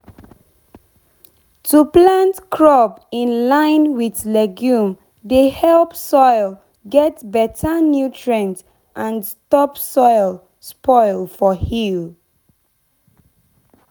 to plant crop in line with legume dey help soil get better nutrient and stop soil spoil for hill.